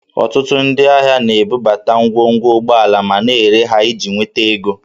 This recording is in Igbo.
Ọtụtụ ndị ahịa na-ebubata ngwongwo ụgbọala ma na-ere ha iji nweta ego